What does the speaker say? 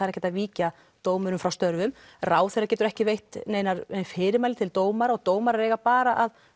ekki hægt að víkja dómurum frá störfum ráðherra getur ekki veitt nein fyrirmæli til dómara og dómarar eiga bara að